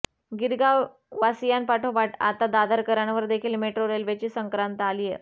गिरगाव वासियांपाठोपाठ आता दादरकरांवर देखील मेट्रो रेल्वेची संक्रांत आलीय